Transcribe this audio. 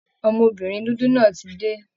Ọmọbìnrin dúdú náà ti dé